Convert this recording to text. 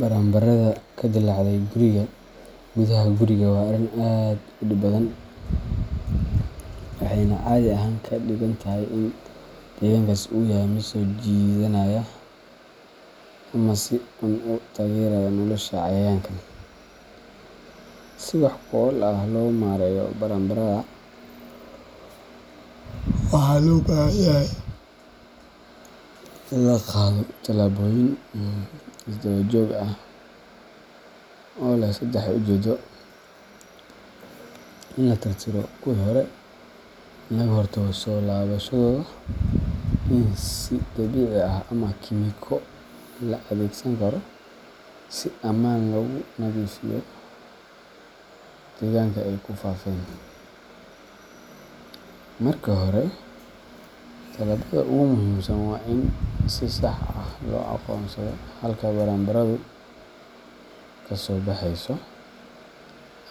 Baranbarada ka dillaacday gudaha guriga waa arrin aad u dhib badan, waxayna caadi ahaan ka dhigan tahay in deegaankaas uu yahay mid soo jiidanaya ama si uun u taageeraya nolosha cayayaankan. Si wax ku ool ah loo maareeyo baranbarada, waxaa loo baahan yahay in la qaado tallaabooyin is-daba joog ah oo leh saddex ujeedo: in la tirtiro kuwii hore, in laga hortago soo laabashadooda, iyo in si dabiici ah ama kiimiko la adeegsan karo si ammaan ah loogu nadiifiyo deegaanka ay ku faafeen. Marka hore, tallaabada ugu muhiimsan waa in si sax ah loo aqoonsado halka baranbaradu kasoo baxeyso